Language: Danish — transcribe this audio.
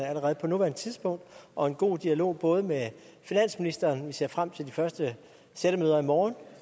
allerede på nuværende tidspunkt og en god dialog både med finansministeren vi ser frem til de første sættemøder i morgen